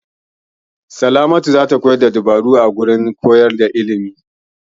Salamatu za ta koyar da dabarun koyarwa a kwalejin ilimi.